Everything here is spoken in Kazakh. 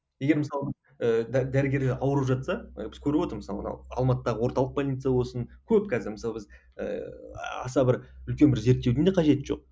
егер мысалы ыыы дәрігерлер ауырып жатса ы біз көріп отырмыз мысалы мынау алматыдағы орталық больница болсын көп қазір мысалы біз ііі аса бір үлкен бір зерттеудің де қажеті жоқ